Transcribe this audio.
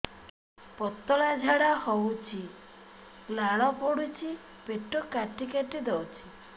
ପତଳା ଝାଡା ହଉଛି ଲାଳ ପଡୁଛି ପେଟ କାଟି କାଟି ଦଉଚି